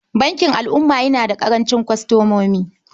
Bankin Al'umma yana da ƙarancin kwastomomi.